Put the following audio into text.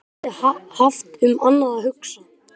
Ég hafði haft um annað að hugsa.